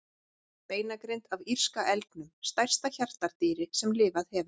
Beinagrind af írska elgnum, stærsta hjartardýri sem lifað hefur.